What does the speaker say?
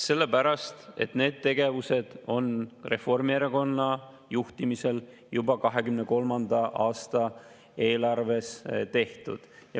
Sellepärast et need tegevused on Reformierakonna juhtimisel juba 2023. aasta eelarves tehtud.